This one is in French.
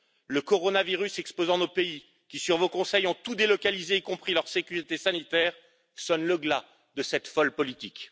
Le coronavirus exposant nos pays qui, sur vos conseils, ont tout délocalisé, y compris leur sécurité sanitaire, sonne le glas de cette folle politique.